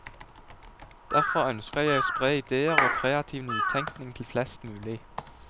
Derfor ønsker jeg å spre ideer og kreativ nytekning til flest mulig.